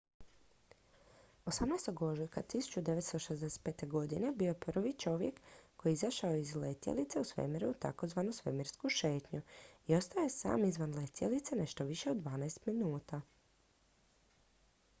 "18. ožujka 1965. bio je prvi čovjek koji je izašao iz letjelice u svemiru u tzv. "svemirsku šetnju" i ostao je sam izvan letjelice nešto više od dvanaest minuta.